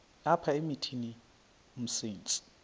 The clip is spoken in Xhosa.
apha emithini umsintsi